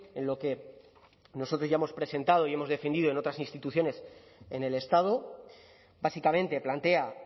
en lo que nosotros ya hemos presentado y hemos defendido en otras instituciones en el estado básicamente plantea